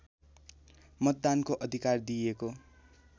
मतदानको अधिकार दिइएको